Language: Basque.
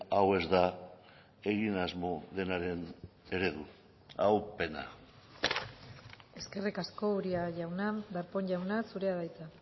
hau ez da egin asmo denaren eredua hau pena eskerrik asko uria jauna darpón jauna zurea da hitza